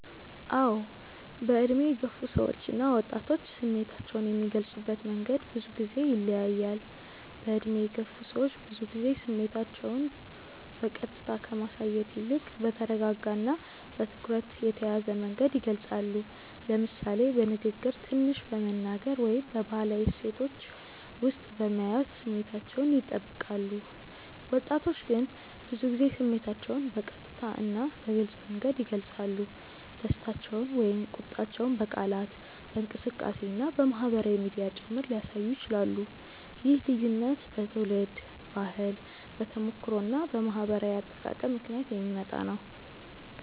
አዎ፣ በዕድሜ የገፉ ሰዎች እና ወጣቶች ስሜታቸውን የሚገልጹበት መንገድ ብዙ ጊዜ ይለያያል። በዕድሜ የገፉ ሰዎች ብዙ ጊዜ ስሜታቸውን በቀጥታ ከማሳየት ይልቅ በተረጋጋ እና በትኩረት የተያዘ መንገድ ይገልጻሉ፤ ለምሳሌ በንግግር ትንሽ በመናገር ወይም በባህላዊ እሴቶች ውስጥ በመያዝ ስሜታቸውን ይጠብቃሉ። ወጣቶች ግን ብዙ ጊዜ ስሜታቸውን በቀጥታ እና በግልጽ መንገድ ይገልጻሉ፤ ደስታቸውን ወይም ቁጣቸውን በቃላት፣ በእንቅስቃሴ እና በማህበራዊ ሚዲያ ጭምር ሊያሳዩ ይችላሉ። ይህ ልዩነት በትውልድ ባህል፣ በተሞክሮ እና በማህበራዊ አጠቃቀም ምክንያት የሚመጣ ነው።